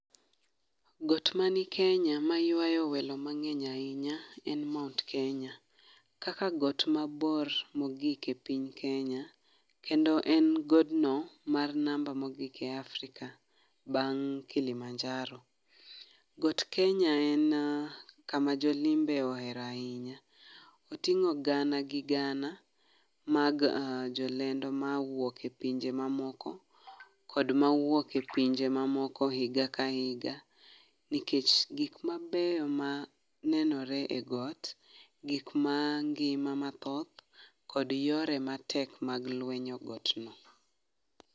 Got mani Kenya maywayo welo mange'ny ahinya, en Mount Kenya, kaka got mabor mogik e piny Kenya, kendo en godno mar number mogik e Afrika bang' Kilimanjaro, got Kenya en kama jo limbe ohero ahinya, otingo' gana gi gana mag jolendo ma wuok e pinje mamoko kod mawuok e pinje mamoko higa ka hinga, nikech gik mabeyo ma nenore e got gik ma ngi'ma mathoth kod yore matek mag lwenyo got no.